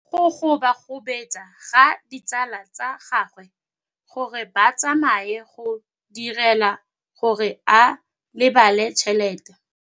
Go gobagobetsa ga ditsala tsa gagwe, gore ba tsamaye go dirile gore a lebale tšhelete.